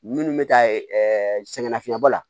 Minnu bɛ taa ɛɛ sɛgɛnnafiɲɛbɔ la